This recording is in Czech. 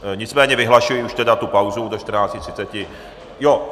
Nicméně vyhlašuji už tedy tu pauzu do 14.30 hodin.